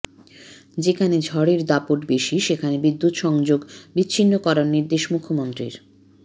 যেখানে ঝড়ের দাপট বেশি সেখানে বিদ্যুৎ সংযোগ বিচ্ছিন্ন করার নির্দেশ মুখ্যমন্ত্রীর